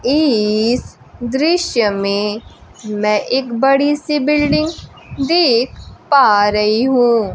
इस दृश्य में मैं एक बड़ी सी बिल्डिंग देख पा रही हूं।